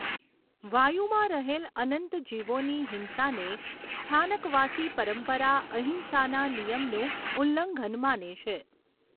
વાયુમાં રહેલ અનંત જીવોની હિંસાને સ્થાનકવાસી પરંપરા અહિંસાના નિયમનું ઉલ્લંઘન માને છે.